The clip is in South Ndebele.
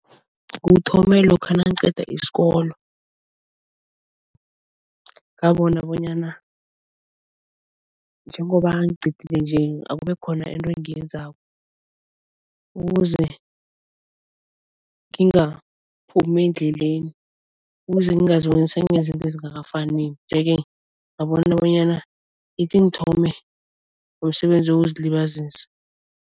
Kuthome lokha nangiqeda isikolo. Ngabona bonyana njengoba ngiqedile nje akube khona into engiyenzako ukuze ngingaphumi endleleni, ukuze ngingaziboni sengenza izinto ezingakafaneli nje-ke ngabona bonyana ithi ngithome umsebenzi wokuzilibazisa.